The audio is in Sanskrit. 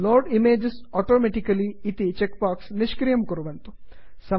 load images automatically load image automatically इति चेक्बाक्स् निष्क्रियं कुर्वन्तु